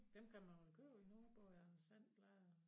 Dem kan man vel købe endnu både Anders And blade og